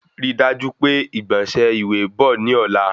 Ri daju pe igbọnsẹ ìwé bọ̀ ní ọ̀la